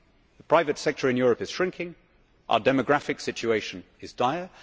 The private sector in Europe is shrinking and our demographic situation is dire.